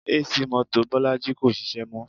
AC mọ́tò Bolaji kò ṣiṣẹ́ mọ́